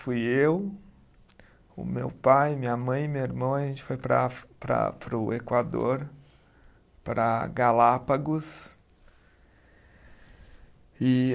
Fui eu, o meu pai, minha mãe, meu irmão, a gente foi para a afri, para para o Equador, para Galápagos. E